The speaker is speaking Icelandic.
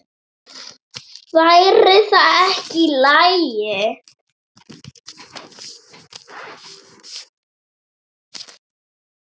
Væri það ekki í lagi?